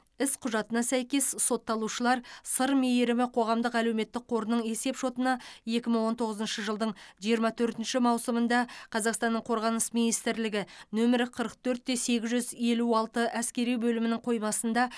іс құжатына сәйкес сотталушылар сыр мейірімі қоғамдық әлеуметтік қорының есеп шотына екі мың он тоғызыншы жылдың жиырма төртінші маусымында қазақстанның қорғаныс министрлігі нөмірі қырық төрт те сегіз жүз елу алты әскери бөлімінің қоймасында